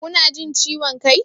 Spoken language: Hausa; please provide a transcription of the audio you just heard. Kuna jin ciwon kai?